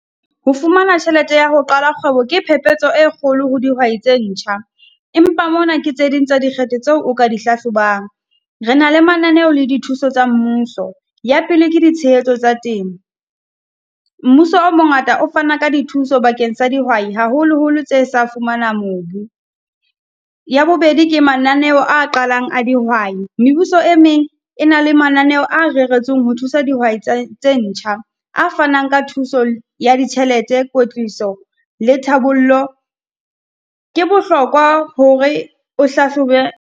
Ho fumana tjhelete ya ho qala kgwebo ke phepetso e kgolo ho dihwai tse ntjha. Empa mona ke tse ding tsa dikgetho tseo o ka di hlahlobang. Re na le mananeo le dithuso tsa mmuso, ya pele ke ditshehetso tsa temo. Mmuso o mongata o fana ka dithuso bakeng sa dihwai, haholoholo tse sa fumana mobu. Ya bobedi, ke mananeho a qalang a dihwai, mebuso e meng e na le mananeo a reretsweng ho thusa dihwai tse ntjha. A fanang ka thuso ya ditjhelete, kotliso le thabollo. Ke bohlokwa hore o hlahlobe.